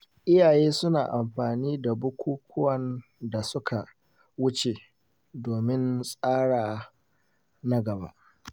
Iyaye suna amfani da bukukuwan da suka wuce domin tsara na gaba.